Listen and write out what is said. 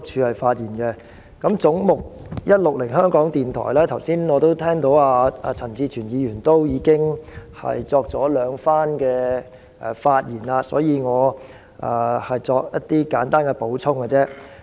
有關"總目 160― 香港電台"，我剛才聽到陳志全議員已就此發言兩次，所以我只會作簡單的補充。